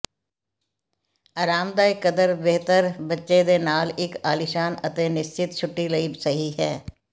ਆਰਾਮਦਾਇਕ ਕਦਰ ਬਿਹਤਰ ਬੱਚੇ ਦੇ ਨਾਲ ਇੱਕ ਆਲੀਸ਼ਾਨ ਅਤੇ ਨਿਸਚਿੰਤ ਛੁੱਟੀ ਲਈ ਸਹੀ ਹੈ